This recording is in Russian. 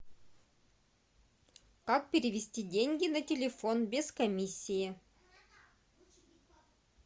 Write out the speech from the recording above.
как перевести деньги на телефон без комиссии